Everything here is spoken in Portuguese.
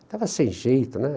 Estava sem jeito, né?